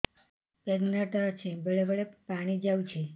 pregnant ଅଛି ବେଳେ ବେଳେ ପାଣି ଯାଉଛି